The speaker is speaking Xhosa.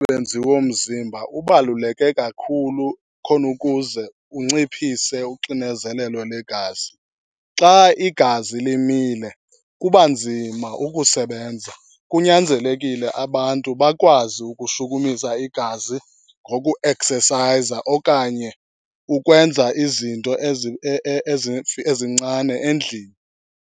womzimba ubaluleke kakhulu khona ukuze unciphise uxinezelelo lwegazi. Xa igazi limile kuba nzima ukusebenza. Kunyanzelekile abantu bakwazi ukushukumisa igazi ngokueksesayiza okanye ukwenza izinto ezincane endlini.